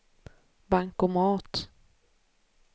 bankomat